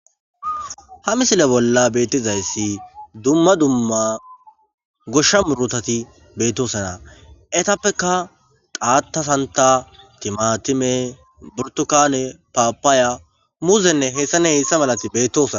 ha misile bolla beetizayssi dumma dumma goshsha murotati bettosana etappeka qaatasanta timatime burtukane paapaaya muzenne hessane heessa malati bettosana